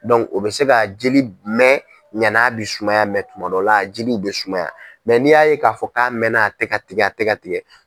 o bɛ se ka jeli mɛn ɲana a bɛ sumaya tuma dɔ la jeliw bɛ sumaya n'i y'a ye k'a fɔ k'a mɛnna a tɛ ka tigɛ a tɛ ka tigɛ